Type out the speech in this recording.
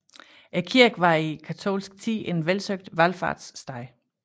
Kirken var i katolsk tid en velsøgt valfartssted